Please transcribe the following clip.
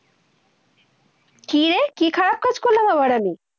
কি রে, কি খারাপ কাজ করলাম আবার আমি?